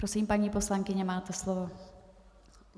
Prosím, paní poslankyně, máte slovo.